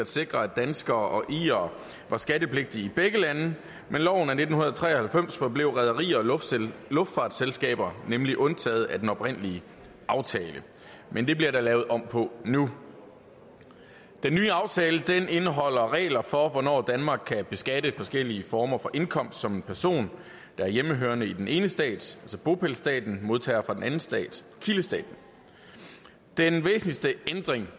sikre at danskere og irere var skattepligtige i begge lande ved loven af nitten tre og halvfems forblev rederier og luftfartsselskaber nemlig undtaget fra den oprindelige aftale men det bliver der lavet om på nu den nye aftale indeholder regler for hvornår danmark kan beskatte forskellige former for indkomst som en person der er hjemmehørende i den ene stat altså bopælsstaten modtager fra den anden stat kildestaten den væsentligste ændring